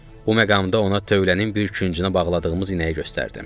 Bu məqamda ona tövlənin bir küncünə bağladığımız inəyi göstərdim.